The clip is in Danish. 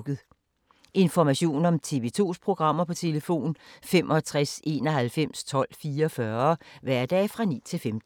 Information om TV 2's programmer: 65 91 12 44, hverdage 9-15.